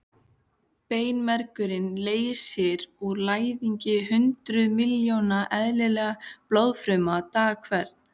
Beinmergurinn leysir úr læðingi hundruð miljóna eðlilegra blóðfruma dag hvern.